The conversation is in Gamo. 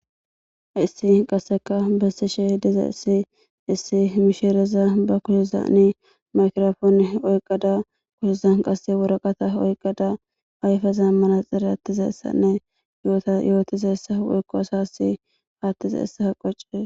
Haysi qasseka bessishe diza issi issi mishereza ba kushizani makrofoone oyqqada kushizan qasse woraqata oyqqada ayfeza mana xire attiza essanne yoota yootiza essa woykko asassi aattizayssa qoccises